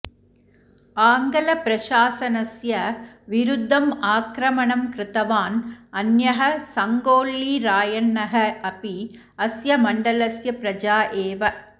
आङ्ग्लप्रशासनस्य विरुद्धं आक्रमणं कृतवान् अन्यः सङ्गोळ्ळी रायण्णः अपि अस्य मण्डलस्य प्रजा एव